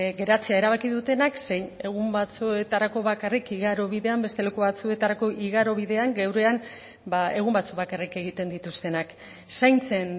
geratzea erabaki dutenak zein egun batzuetarako bakarrik igarobidean beste leku batzuetarako igarobidean geurean egun batzuk bakarrik egiten dituztenak zaintzen